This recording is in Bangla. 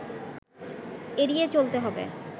এড়িয়ে চলতে হবে